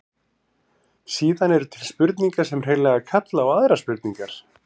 Síðan eru til spurningar sem hreinlega kalla á aðrar spurningar.